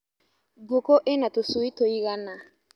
Ngũkũ ina tũcui tũigana.